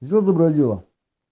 сделай доброе дело